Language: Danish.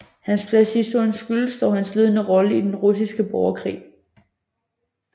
Hans plads i historien skyldes dog hans ledende rolle i den russiske borgerkrig